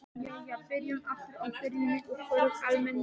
Jæja, byrjum aftur á byrjuninni og förum almennilega í þetta.